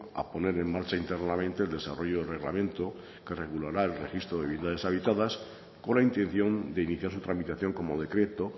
a poner en marcha internamente el desarrollo del reglamento que regulará el registro de viviendas deshabitadas con la intención de iniciar su tramitación como decreto